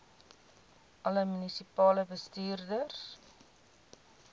alle munisipale bestuurders